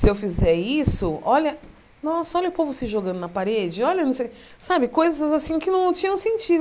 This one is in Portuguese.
Se eu fizer isso, olha, nossa, olha o povo se jogando na parede, olha, não sei, sabe, coisas assim que não tinham sentido.